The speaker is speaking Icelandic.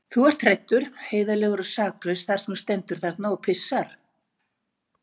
Þú ert hræddur, heiðarlegur og saklaus þar sem þú stendur þarna og pissar.